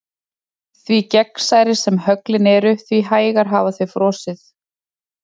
Því gegnsærri sem höglin eru því hægar hafa þau frosið.